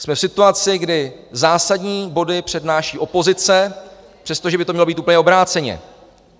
Jsme v situaci, kdy zásadní body přednáší opozice, přestože by to mělo být úplně obráceně.